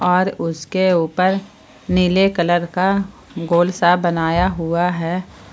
और उसके ऊपर नीले कलर का गोल सा बनाया हुआ है।